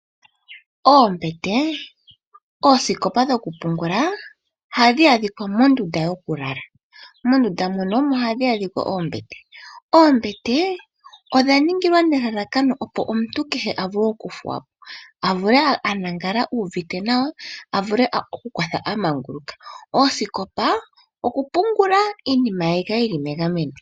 Oombete , oosikopa dhokupungula ohadhi adhika mondunda yoku lala. Mondunda mono omo hamu adhika oombete. Oombete odha ningwa nelalakano opo omuntu kehe avule okuthuwapo , avule alale uuvute nawa ye akothe amanguluka . Osikopa okupungula iinima ye yi kale yili megameno.